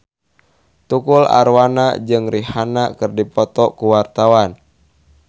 Tukul Arwana jeung Rihanna keur dipoto ku wartawan